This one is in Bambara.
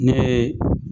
Ne